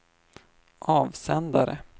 avsändare